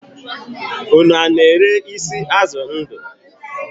Ụnụ na-ere isi azụ ndu?